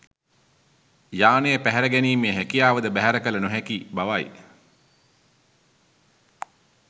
යානය පැහැර ගැනීමේ හැකියාවද බැහැර කළ නොහැකි බවයි